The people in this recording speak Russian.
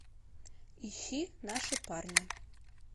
ищи наши парни